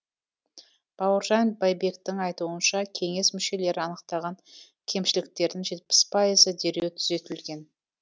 бауыржан байбектің айтуынша кеңес мүшелері анықтаған кемшіліктердің жетпіс пайызы дереу түзетілген